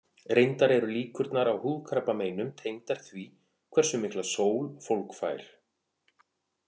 Reyndar eru líkurnar á húðkrabbameinum tengdar því hversu mikla sól fólk fær.